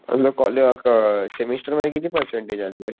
semester मध्ये किती percentage आणले